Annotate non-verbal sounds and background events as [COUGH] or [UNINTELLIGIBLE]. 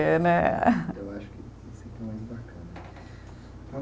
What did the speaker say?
Eh, né. Eu acho que [UNINTELLIGIBLE]